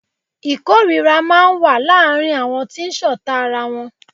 Ìkórira máa ń wà láàárín àwọn tí ṣọ̀ta ara wọn.